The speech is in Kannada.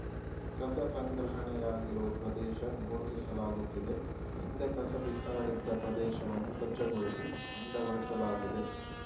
ಕಸ ಸಂಗ್ರಹಣೆಯಾಗಿರುವ ಪ್ರದೇಶ ಗುರುತಿಸಲಾಗುತ್ತಿದೆ ಹಿಂದೆ ಕಸ ಬಿಸಾಡಿದ್ದ ಪ್ರದೇಶವನ್ನು ಸ್ವಚ್ಛಗೊಳಿಸಿ ಅಂದಗೊಳಿಸಲಾಗಿದೆ